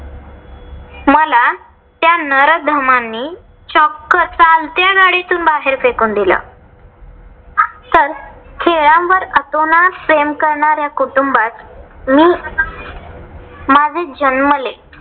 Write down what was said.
त्या नराधमांनी चक्क चालत्या गाडीतून बाहेर फेकून दिलं. तर खेळांवर आतोनात प्रेम करण्याऱ्या कुटुंबात मी माझं जन्मले